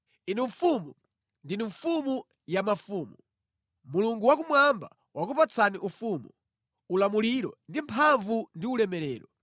Inu mfumu, ndinu mfumu ya mafumu. Mulungu wakumwamba wakupatsani ufumu, ulamuliro ndi mphamvu ndi ulemerero;